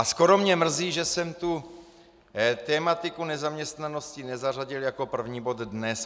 A skoro mě mrzí, že jsem tu tematiku nezaměstnanosti nezařadil jako první bod dne.